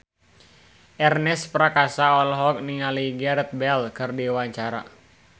Ernest Prakasa olohok ningali Gareth Bale keur diwawancara